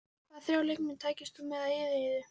Hvaða þrjá leikmenn tækir þú með á eyðieyju?